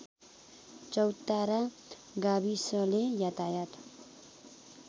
चौतारा गाविसले यातायात